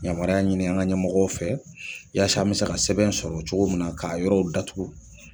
Yanmaruya ɲini an ka ɲɛmɔgɔw fɛ yasa an bɛ se ka sɛbɛn in sɔrɔ cogo min na k'a yɔrɔw datugu.